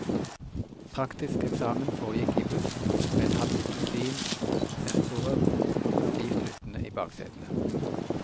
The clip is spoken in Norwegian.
Praktisk eksamen foregikk i buss med et halvt dusin sensorer stivt lyttende i baksetene.